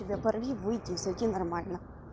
да порви выйди зайди нормально